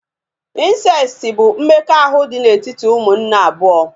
Insesiti bụ mmekọahụ dị n'etiti umunne abụọ